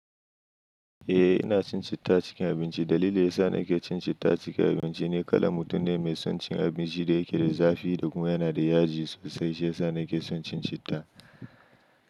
Eh ina cin citta cikin abinci. Dalilin da ya sa nake cin citta a cikin abinci ne kala mutum ne mai son cin abinci da yake da zafi da kuma yana da yaji sosai. Shi ya sa nake son cin citta.